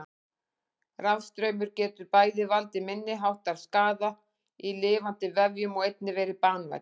Rafstraumur getur bæði valdið minniháttar skaða í lifandi vefjum og einnig verið banvænn.